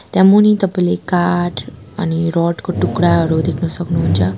त्यहाँ मुनि तपाईँले काठ अनि रड को टुक्राहरू देख्न सक्नुहुन्छ।